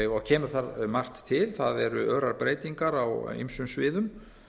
og kemur þar margt til það eru örar breytingar á ýmsum sviðum